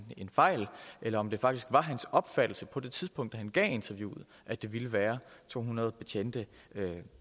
fejl eller om det faktisk var hans opfattelse på det tidspunkt da han gav interviewet at det ville være to hundrede betjente